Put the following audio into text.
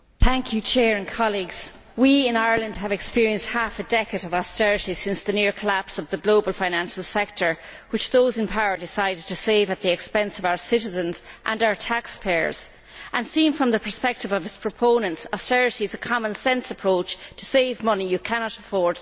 Mr President, we in Ireland have experienced half a decade of austerity since the near collapse of the global financial sector, which those in power decided to save at the expense of our citizens and our taxpayers and seen from the perspective of its proponents, austerity is a common sense approach to save money you cannot afford to spend.